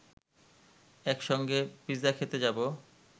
একসঙ্গে পিৎসা খেতে যাব